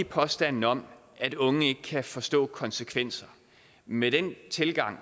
påstanden om at unge ikke kan forstå konsekvenser med den tilgang